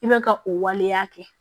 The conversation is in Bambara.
I bɛ ka o waleya kɛ